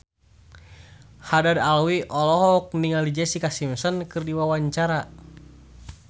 Haddad Alwi olohok ningali Jessica Simpson keur diwawancara